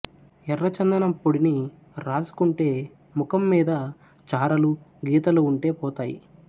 ఎర్ర చందనం పొడిని రాసుకుంటే ముఖం మీద చారలూ గీతలూ ఉంటే పోతాయి